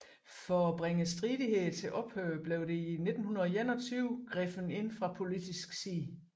For at bringe stridighederne til ophør blev der i 1921 grebet ind fra politisk side